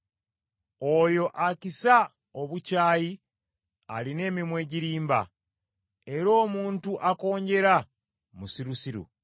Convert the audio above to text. Oyo akisa obukyayi alina emimwa egirimba, era omuntu akonjera, musirusiru.